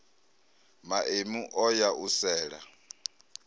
maemu o ya u sela